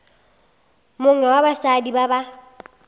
mongwe wa basadi ba ba